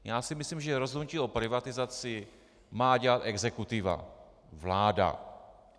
Já si myslím, že rozhodnutí o privatizaci má dělat exekutiva, vláda.